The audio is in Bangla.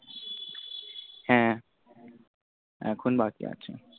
হ্য়াঁ এখন বাকি আছে।